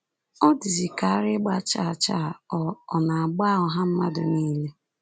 O dịzịka ara ịgba chaa chaa ọ̀ ọ̀ na-agba ọha mmadụ niile.